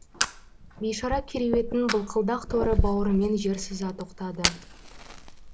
бейшара кереуеттің былқылдақ торы бауырымен жер сыза тоқтады